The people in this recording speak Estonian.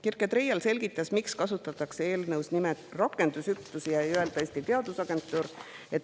Kirke Treial selgitas, miks kasutatakse eelnõus nimetust rakendusüksus ega öelda Eesti Teadusagentuur.